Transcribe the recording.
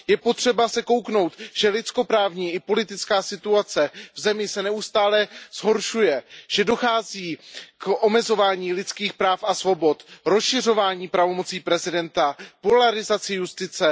Je třeba se podívat na to, že lidskoprávní i politická situace v zemi se neustále zhoršuje, že dochází k omezování lidských práv a svobod, rozšiřování pravomocí prezidenta, polarizaci justice.